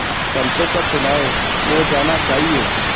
पंचों का चुनाव हो जाना चाहिए